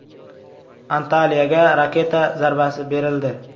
Antaliyaga raketa zarbasi berildi.